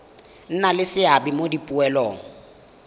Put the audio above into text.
nna le seabe mo dipoelong